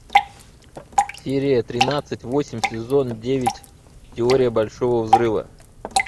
серия тринадцать восемь сезон девять теория большого взрыва